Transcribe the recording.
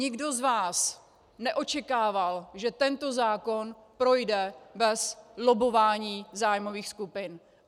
Nikdo z vás neočekával, že tento zákon projde bez lobbování zájmových skupin.